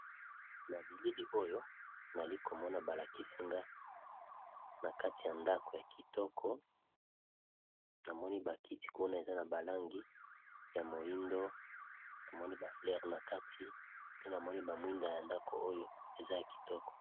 Na bilili oyo nali komona ba lakisi nga na kati ya ndako ya kitoko, namoni ba kiti kuna eza na ba langi ya moyindo namoni ba fleure na kati pe namoni ba mwinda ya ndako oyo eza ya kitoko.